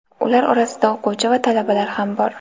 Ular orasida o‘quvchi va talabalar ham bor.